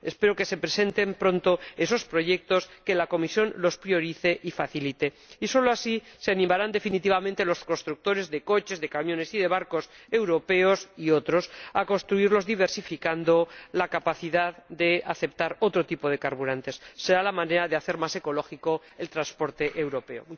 Espero que se presenten pronto esos proyectos, que la Comisión les dé prioridad y los facilite. Solo así se animarán definitivamente los constructores de coches, de camiones y de barcos ―europeos y otros― a construirlos diversificando la capacidad de aceptar otro tipo de carburante será la manera de hacer más ecológico el transporte europeo.